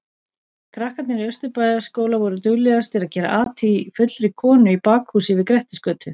Krakkarnir í Austurbæjarskóla voru duglegastir að gera at í fullri konu í bakhúsi við Grettisgötu.